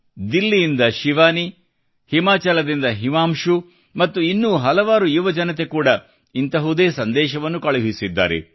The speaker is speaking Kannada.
ದಿಲ್ಲಿಯಿಂದ ಶಿವಾನಿ ಹಿಮಾಚಲದಿಂದ ಹಿಮಾಂಶು ಮತ್ತು ಇನ್ನೂ ಹಲವಾರು ಯುವಜನತೆ ಕೂಡ ಇಂಥದೇ ಸಂದೇಶವನ್ನು ಕಳುಹಿಸಿದ್ದಾರೆ